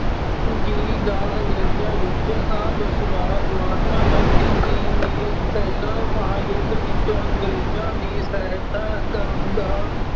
ਜੀ ਦਾ ਅੰਗਰੇਜ਼ਾਂ ਵਿੱਚ ਆਹ ਵਿਸ਼ਵਾਸ। ਮਹਾਤਮਾ ਗਾਂਧੀ ਜੀ ਨੇ ਪਹਿਲਾਂ ਮਹਾਂਯੁੱਧ ਵਿੱਚ ਅੰਗਰੇਜ਼ਾਂ ਦੀ ਸਹਾਇਤਾ ਕਰਨ ਦਾ